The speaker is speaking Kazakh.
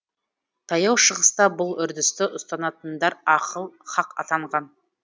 таяу шығыста бұл үрдісті ұстанатындар ахыл хақ атанған